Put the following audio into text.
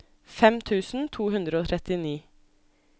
fem tusen to hundre og trettini